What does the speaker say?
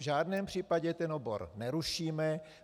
V žádném případě ten obor nerušíme.